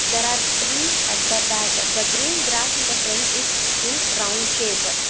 there are trees at the back the green grass in the front is in round shape.